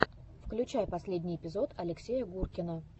включай последний эпизод алексея гуркина